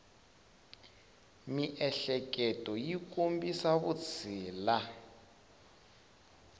miehleketo yi kombisa vutshila